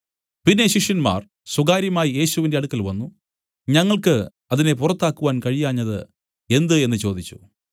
പിന്നെ ശിഷ്യന്മാർ സ്വകാര്യമായി യേശുവിന്റെ അടുക്കൽ വന്നു ഞങ്ങൾക്കു അതിനെ പുറത്താക്കാൻ കഴിയാഞ്ഞത് എന്ത് എന്നു ചോദിച്ചു